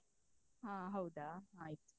ಹ ಹೌದಾ ಆಯ್ತು.